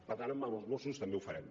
per tant amb els mossos també ho farem